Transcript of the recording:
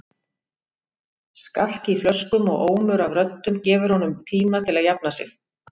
Skark í flöskum og ómur af röddum gefur honum tíma til að jafna sig.